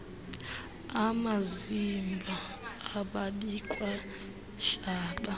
amazimba ababikwa hlaba